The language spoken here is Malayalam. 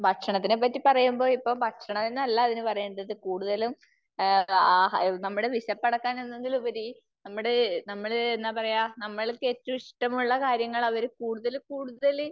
ഭക്ഷണത്തിനെ പറ്റി പറയുമ്പോ ഇപ്പോ ഭക്ഷണമെന്നല്ല അതിന് പറയേണ്ടത്. കൂടുതലും ആ നമ്മുടെ വിശപ്പടക്കാൻ എന്നതിൽ ഉപരി നമ്മള് നമ്മള് എന്താ പറയാ, നമ്മൾക്ക് ഏറ്റവും ഇഷ്ടമുള്ള കാര്യങ്ങൾ അവര് കൂടുതൽ കൂടുതൽ